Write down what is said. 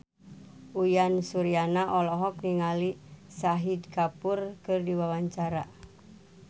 Uyan Suryana olohok ningali Shahid Kapoor keur diwawancara